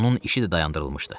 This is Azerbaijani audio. Onun işi də dayandırılmışdı.